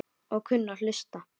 Og kunni að hlusta.